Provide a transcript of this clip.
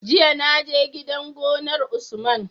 Jiya na je gidan gonar usman